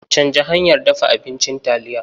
Canja hanyar dafa abincin taliya.